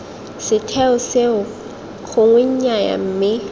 setheo seo gongwe nnyaya mme